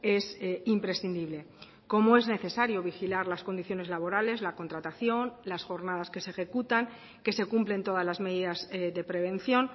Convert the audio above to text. es imprescindible como es necesario vigilar las condiciones laborales la contratación las jornadas que se ejecutan que se cumplen todas las medidas de prevención